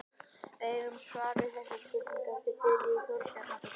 Við eigum svar við þessari spurningu eftir Þuríði Þorbjarnardóttur.